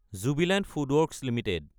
Jubilant FoodWorks Ltd